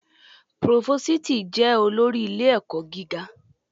Próvósìtì jẹ olórí ilé-ẹ̀kọ́ gíga.